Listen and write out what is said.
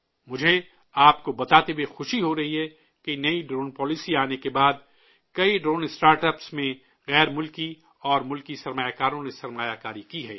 مجھے آپ کو بتاتے ہوئے خوشی ہو رہی ہے کہ نئی ڈرون پالیسی آنے کے بعد کئی ڈرون اسٹارٹ اپس میں غیر ملکی اور ملکی سرمایہ کاروں نے سرمایہ کاری کی ہے